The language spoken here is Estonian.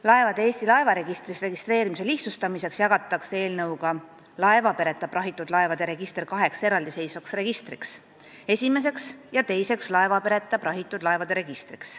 Laevade Eesti laevaregistris registreerimise lihtsustamiseks jagatakse eelnõuga laevapereta prahitud laevade register kaheks eraldiseisvaks registriks: esimeseks ja teiseks laevapereta prahitud laevade registriks.